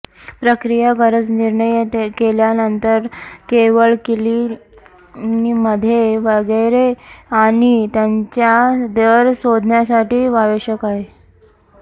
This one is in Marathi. प्रक्रिया गरज निर्णय केल्यानंतर केवळ क्लिनिकमध्ये वैगेरे आणि त्यांच्या दर शोधण्यासाठी आवश्यक आहे